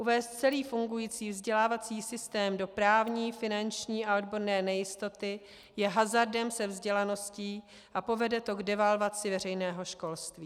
Uvést celý fungující vzdělávací systém do právní, finanční a odborné nejistoty je hazardem se vzdělaností a povede to k devalvaci veřejného školství.